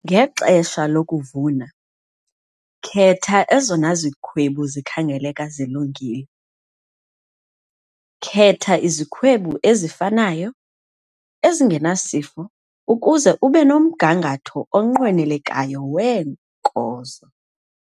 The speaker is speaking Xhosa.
Ngexesha lokuvuna, khetha ezona zikhwebu zikhangeleka zilungile. Khetha izikhwebu ezifanayo, ezingenasifo ukuze ube nomgangatho onqwenelekayo weenkozo.